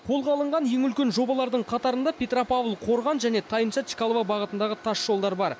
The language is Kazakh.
қолға алынған ең үлкен жобалардың қатарында петропавл қорған және тайынша чкалова бағытындағы тасжолдар бар